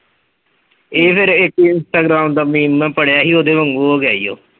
ਇਹ ਫੇਰ ਇੱਕ instagram ਦਾ ਮੈ ਪੜ੍ਹਿਆ ਸੀ ਓਹਦੇ ਵਾਂਗੂ ਹੋ ਗਿਆ ਈ